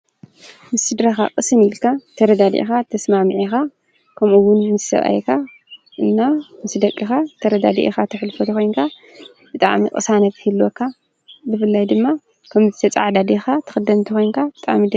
ምስድረኻ ቕስን ኢልካ ተረዳድኢኻ ተስማ ዒኻ ከምኡውን ምስ ሰብኣይካ እና ምስ ደቅኻ ተረዳድኢኻ ተሕልፎ ተኾንካ ብጣዕሚ ቕሳነት ይህልወካ ብፍላይ ድማ ከምዚ ተፃዓዳዲኻ ትኽደምን እንተ ኮንካ።